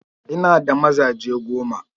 Ina da mazaje goma.